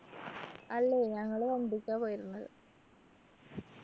അല്ല ഞങ്ങള് വണ്ടിക്കാ പോയിരുന്നത്